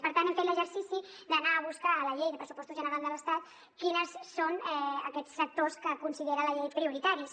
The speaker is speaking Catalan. per tant hem fet l’exercici d’anar a buscar a la llei de pressupostos generals de l’estat quins són aquests sectors que considera la llei prioritaris